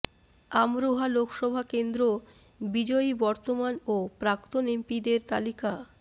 আমরোহা লোকসভা কেন্দ্র বিজয়ী বর্তমান ও প্রাক্তন এমপিদের তালিকা